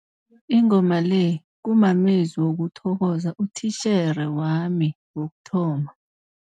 Ingoma le kumamezwi wokuthokoza utitjhere wami wokuthoma.